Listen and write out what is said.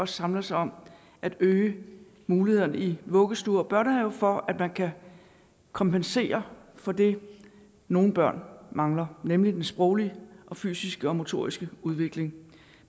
samler sig om at øge mulighederne i vuggestuer og børnehaver for at man kan kompensere for det nogle børn mangler nemlig sproglig fysisk og motorisk udvikling